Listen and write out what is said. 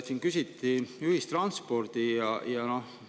Siin küsiti ühistranspordi kohta.